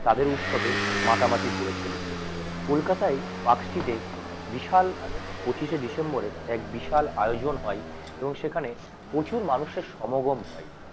তাদের উৎসবে মাথামাতা করে চলি কলকাতা আই টাক্সিডে বিশাল পঁচিশ শে ডিসেম্বরে এক বিশাল আয়োজন হয় এবং সেখানে প্রচুর মানুষের সমগম হয়